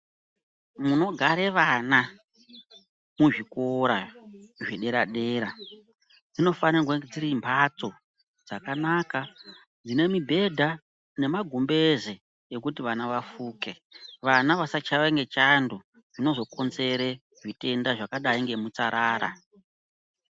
Munogare vana muzvikora zvedera-dera dzinofane kuva dzirimbatso dzakanaka dzinemibhedha nemagumbezi ekuti vana vafuke. Vana vasachaiwe ngechando dzinozokonzere zvitenda zvakadai nemutsarara.